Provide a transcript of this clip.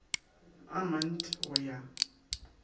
a mant i go ya